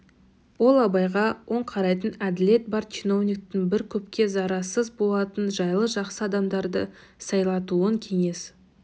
ол абайға оң қарайтын әділет бар чиновниктің бір көпке зарарсыз болатын жайлы жақсы адамдарды сайлатуын кеңес